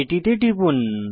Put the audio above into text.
এটিতে টিপুন